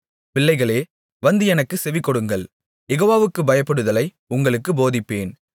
பிள்ளைகளே வந்து எனக்குச் செவிகொடுங்கள் யெகோவாவுக்குப் பயப்படுதலை உங்களுக்குப் போதிப்பேன்